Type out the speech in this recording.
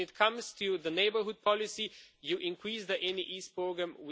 When it comes to neighbourhood policy, you increase the ENI East programme